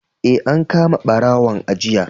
Eh, an kama ɓarawon a jiya.